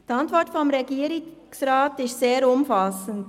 Die Antwort des Regierungsrats ist sehr umfassend.